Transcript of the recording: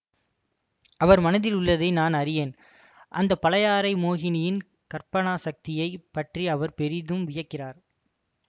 அவர் மனத்தில் உள்ளதை நான் அறிவேன் அந்த பழையாறை மோகினியின் கற்பனா சக்தியை பற்றி அவர் பெரிதும் வியக்கிறார்